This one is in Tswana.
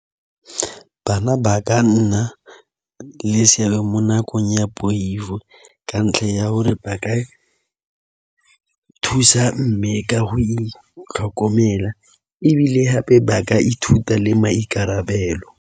Bana ba ka nna le seabe mo nakong ya poifo ka ntlha ya gore ba ka thusa mme ka go itlhokomela ebile gape ba ka ithuta le maikarabelo.